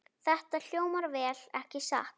Þetta hljómar vel, ekki satt?